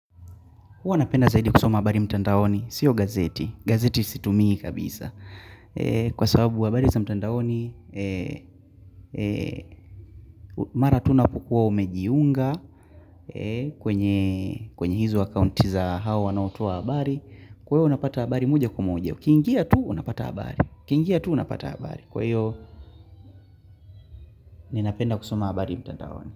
Huwa napenda zaidi kusoma habari mtandaoni. Sio gazeti. Gazeti situmii kabisa. Kwa sababu habari za mtandaoni mara tu unapokua umejiunga kwenye hizo akaunti za hao wanaotoa habari kwa hio unapata habari moja kwa moja. Ukiingia tu unapata habari. Ukiingia tu unapata habari. Kwa hiyo ninapenda kusoma habari mtandaoni.